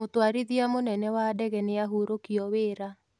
Mũtwarithia mũnene wa ndege nĩahurũkio wĩra.